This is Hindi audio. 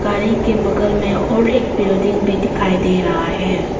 गाड़ी के बगल में और एक बिल्डिंग भी दिखाई दे रहा है।